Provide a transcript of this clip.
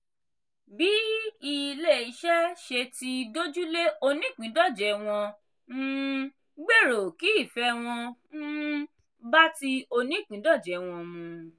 bí ilé-iṣẹ́ ṣe ti dójú lé onípìńdọ̀jẹ̀ wọ́n um gbèrò kí ìfẹ́ wọn um bá ti onípìńdọ̀jẹ̀ wọn mu.